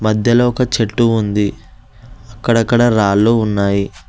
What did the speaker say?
మధ్యలో ఒక చెట్టు ఉంది అక్కడక్కడ రాళ్లు ఉన్నాయి.